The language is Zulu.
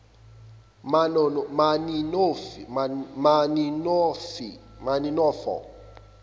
maninofo